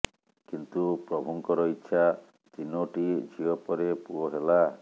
କିନ୍ତୁ ପ୍ରଭୁଙ୍କର ଇଚ୍ଛା ତିନୋଟି ଝିଅ ପରେ ପୁଅ ହେଲା